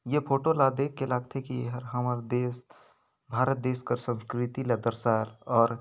ये फोटो ला देखके लागथे कि ए हर हमर देश भारत देश का संस्कृति ल दर सार और --